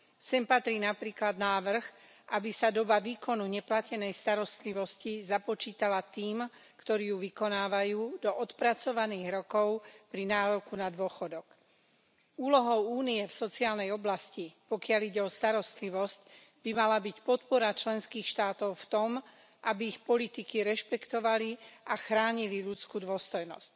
Sem patrí napríklad návrh, aby sa obdobie výkonu neplatenej starostlivosti započítalo tým, ktorí ju vykonávajú, do odpracovaných rokov pri nároku na dôchodok. Úlohou Únie v sociálnej oblasti, pokiaľ ide o starostlivosť, by mala byť podpora členských štátov v tom, aby ich politiky rešpektovali a chránili ľudskú dôstojnosť.